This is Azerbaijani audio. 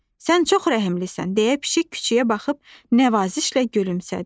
Sən çox rəhimlisən, deyə pişik küçüyə baxıb nəvazişlə gülümsədi.